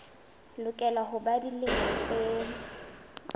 lokela ho ba dilemo tse